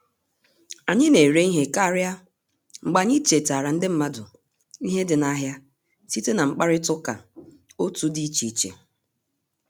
Anyị na-ere ihe karịa mgbe anyị chetaara ndị mmadụ ihe dị n'ahịa site na mkparịta ụka otu di iche iche